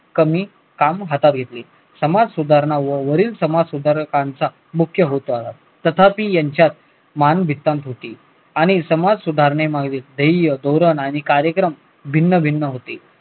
कमी काम हातात घेतले समाज सुधारणा व वरील समाज सुधारकांचा मुख्य होता तथापि यांच्या होती आणि समाज सुधारणे धैर्य धोरण आणि कार्यक्रम भिन्न भिन्न होते